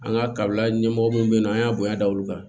An ka kabila ɲɛmɔgɔw bɛ yen nɔ an y'a bonya da olu kan